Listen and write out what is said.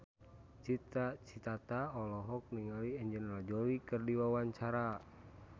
Cita Citata olohok ningali Angelina Jolie keur diwawancara